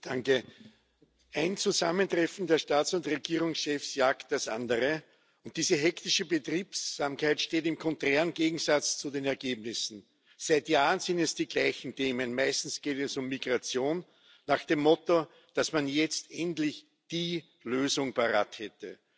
Frau Präsidentin! Ein Zusammentreffen der Staats und Regierungschefs jagt das andere. Diese hektische Betriebsamkeit steht im klaren Gegensatz zu den Ergebnissen. Seit Jahren sind es die gleichen Themen meistens geht es um Migration nach dem Motto, dass man jetzt endlich die Lösung parat hätte.